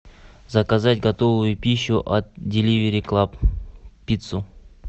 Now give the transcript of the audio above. заказать готовую пищу от деливери клаб пиццу